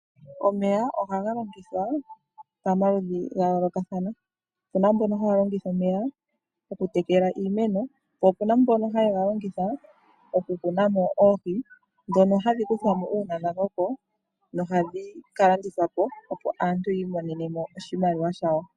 Omeya ohaga longithwa pamaludhu gayoolokathana , opuna mbono haye galongitha oku tekela iimeno noshowo mbono haye galongitha oku tulamo oohohi dhono hadhi kuthwamo uuna dhakoko dhika landithwe yoyamonewo oshimaliwa.